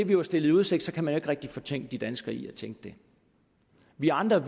blev stillet i udsigt kan man jo ikke rigtig fortænke de danskere i at tænke det vi andre